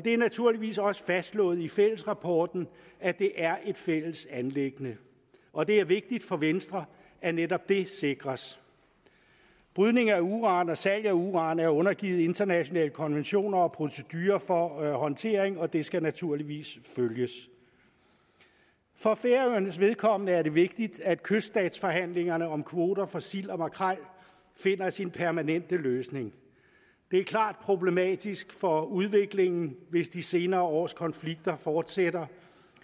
det er naturligvis også fastslået i fællesrapporten at det er et fælles anliggende og det er vigtigt for venstre at netop det sikres brydning af uran og salg af uran er undergivet internationale konventioner og procedurer for håndtering og det skal naturligvis følges for færøernes vedkommende er det vigtigt at kyststatsforhandlingerne om kvoter for sild og makrel finder sin permanente løsning det er klart problematisk for udviklingen hvis de senere års konflikter fortsætter